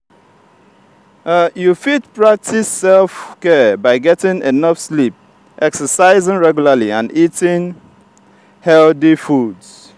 you fit practice self-care by getting enough sleep exercising regularly and eating healthy foods.